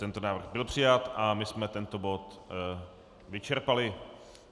Tento návrh byl přijat a my jsme tento bod vyčerpali.